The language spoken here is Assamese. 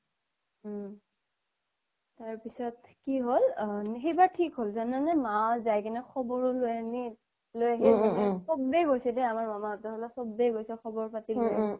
উম তাৰ পিছত কি হ'ল উম সেইবাৰ থিক হ'ল জানানে মা যাইপিনে খবৰো লৈ আহিল চবেই গৈছে দেই আমাৰ মামা ফালৰ চবেই গৈছে খবৰ পাতি ল্'লে